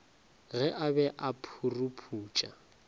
ge a be a phuruputša